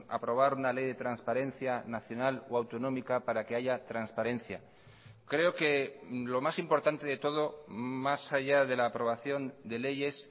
aprobar una ley de transparencia nacional o autonómica para que haya transparencia creo que lo más importante de todo más allá de la aprobación de leyes